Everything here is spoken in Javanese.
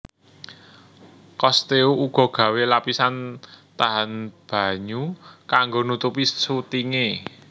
Cousteau uga gawé lapisan tahan banyu kanggo nutupi sutinge